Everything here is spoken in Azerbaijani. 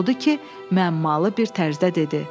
Odur ki, məmalı bir tərzdə dedi: